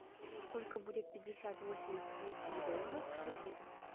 сколько будет пятьдесят восемь австралийских долларов в шекелях